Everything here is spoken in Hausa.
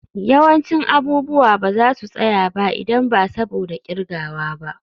Yawancin abubuwa ba za su tsaya ba idan ba saboda kirgawa ba.